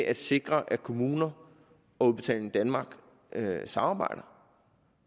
at sikre at kommuner og udbetaling danmark samarbejder